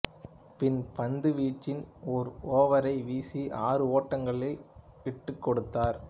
பின் பந்துவீச்சில் ஒரு ஓவரை வீசி அறு ஓட்டங்களை விட்டுக் கொடுத்தார்